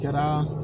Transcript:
Kɛra